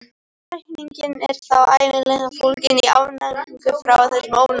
Lækningin er þá ævinlega fólgin í afnæmingu fyrir þessum ofnæmisvöldum.